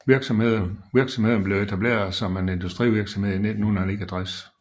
Virksomheden blev etableret som en industrivirksomhed i 1969